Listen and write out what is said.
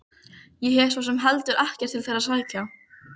Ég hef svo sem heldur ekkert til þeirra að sækja.